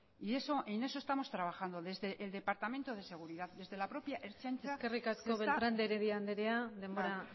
y en eso estamos trabajando desde el departamento de seguridad desde la propia ertzaintza eskerrik asko beltrán de heredia andrea denbora